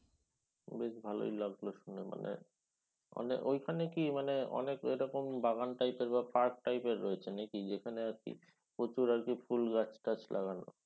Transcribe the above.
বেশ ভালই লাগলো শুনে মানে। ঐখানে কি মানে অনেক এরকম বাগান type এর বা park type এর রয়েছে নাকি। যেখানে আর কি প্রচুর আর কি ফুল গাছ টাচ লাগানো?